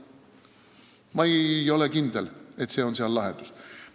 Ma ei ole kindel, et see on lahendus.